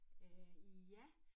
Øh ja